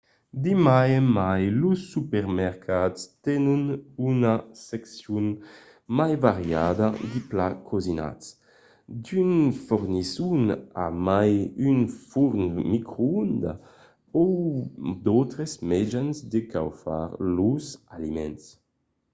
de mai en mai los supermercats tenon una seccion mai variada de plats cosinats. d'unes fornisson a mai un forn microondas o d'autres mejans de caufar los aliments